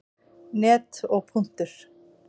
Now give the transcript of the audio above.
net og.